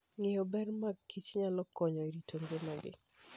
Ng'eyo ber mag kich nyalo konyo e rito ngimagi.